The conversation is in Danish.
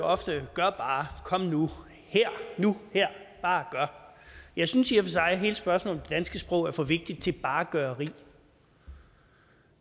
ofte gør bare kom nu her nu her bare gør jeg synes i og for sig at hele spørgsmålet om danske sprog er for vigtigt til bare er gøreri